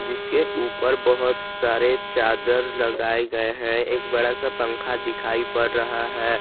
जिसके ऊपर बहोत सारे चादर लगाए गए हैं एक बड़ा सा पंखा दिखाई पड़ रहा है।